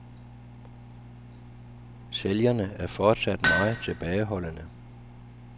Sælgerne er fortsat meget tilbageholdende.